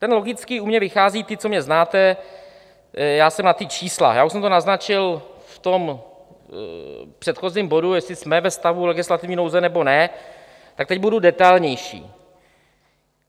Ten logický u mě vychází, ti, co mě znáte, já jsem na ta čísla, já už jsem to naznačil v tom předchozím bodu, jestli jsme ve stavu legislativní nouze, nebo ne, tak teď budu detailnější.